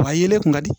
Wa yelen kun ka di